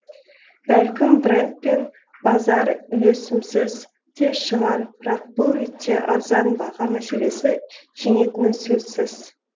бәлкім брэнд пен базар үйлесімсіз де шығар бірақ бұл ретте арзан баға мәселесі жеңетіні сөзсіз